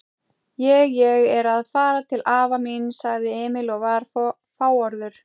Ég. ég er að fara til afa míns, sagði Emil og var fáorður.